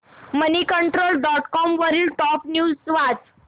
Moneycontrol dot com वरील top news वाच